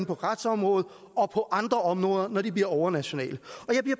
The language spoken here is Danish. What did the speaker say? på retsområdet og på andre områder når de bliver overnationale